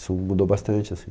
Isso mudou bastante, assim.